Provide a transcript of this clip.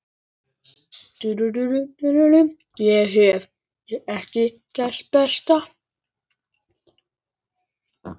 Ég hef ekkert breyst.